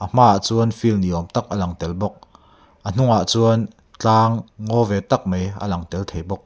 a hmaah chuan field ni awm tak a lang tel bawk a hnungah chuan tlang ngaw ve tak mai a lang tel thei bawk.